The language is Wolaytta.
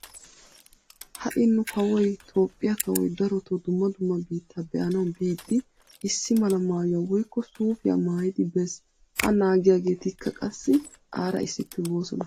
Ha"i nu kawoy Toophphiyaa kawoy darotoo dumma dumma biittaa be"anawu biiddi issi mala maayuwa woykko suufiya maayidi bes. A naagiyaageetikka qassi aara issippe boosona.